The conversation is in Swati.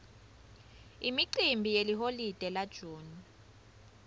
imicimbi yeliholide la june